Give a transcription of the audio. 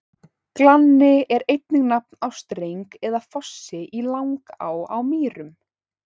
Glanni er einnig nafn á streng eða fossi í Langá á Mýrum.